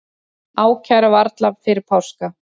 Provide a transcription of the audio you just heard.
Ákæra varla fyrir páska